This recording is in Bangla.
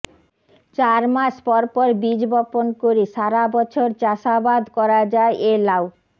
চার মাস পরপর বীজ বপণ করে সারাবছর চাষাবাদ করা যায় এ লাউ